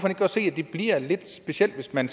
ikke godt se at det bliver lidt specielt hvis man